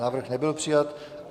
Návrh nebyl přijat.